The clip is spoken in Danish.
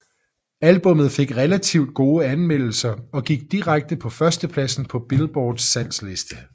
Albummet fik relativt gode anmeldelser og gik direkte på førstepladsen på Billboards salgsliste